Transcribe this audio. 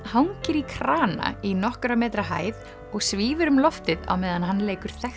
hangir í krana í nokkurra metra hæð og svífur um loftið á meðan hann leikur þekkt